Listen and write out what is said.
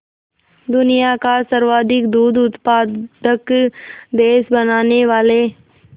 दुनिया का सर्वाधिक दूध उत्पादक देश बनाने वाले